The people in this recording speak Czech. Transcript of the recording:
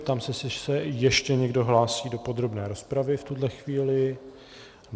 Ptám se, jestli se ještě někdo hlásí do podrobné rozpravy v tuhle chvíli.